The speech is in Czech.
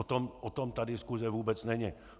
O tom ta diskuse vůbec není.